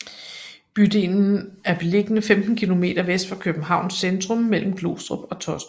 Bydelen er beliggende 15 kilometer vest for Københavns centrum mellem Glostrup og Taastrup